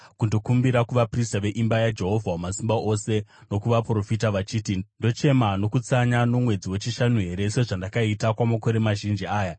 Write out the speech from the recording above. kundokumbira kuvaprista veimba yaJehovha Wamasimba Ose nokuvaprofita vachiti, “Ndochema nokutsanya nomwedzi wechishanu here, sezvandakaita kwamakore mazhinji aya?”